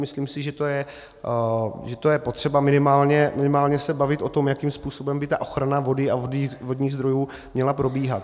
Myslím si, že to je potřeba, minimálně se bavit o tom, jakým způsobem by ta ochrana vody a vodních zdrojů měla probíhat.